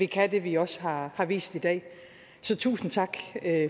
kan det vi også har har vist i dag så tusind tak